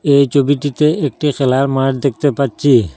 এই চবিটিতে একটি খেলার মাঠ দেখতে পাচ্চি ।